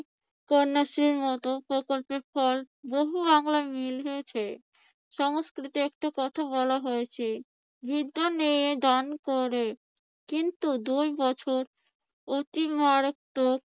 কন্যাশ্রীর মত প্রকল্পের পর বহু বাংলার মিল হয়েছে সংস্কৃতে একটা কথা বলা হয়েছে বিদ্যা নিয়ে দান করে কিন্তু দুই বছর অতি মারাত্মক